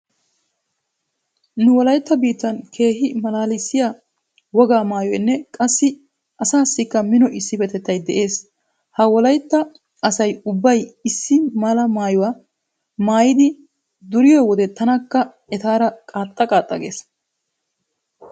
Nu wolaytta biittan keehi malaalissiya wogaa maayoynne qassi asaassikka mino issippetettay de'ees. Ha wolaytta asay ubbay issi mera maayuwa maayidi duriyoode tanakka etaara qaaxxa qaaxxa gees.